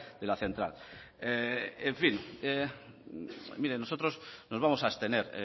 de la central en fin mire nosotros nos vamos a abstener